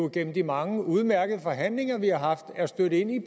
gennem de mange udmærkede forhandlinger vi har haft er stødt ind i